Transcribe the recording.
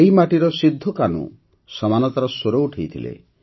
ଏହି ମାଟିରେ ସିଦ୍ଧୋକାହ୍ନୁ ସମାନତାର ସ୍ୱର ଉଠାଇଥିଲେ